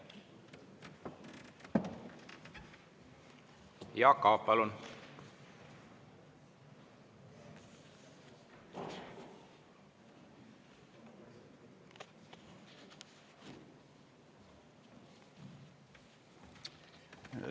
Jaak Aab, palun!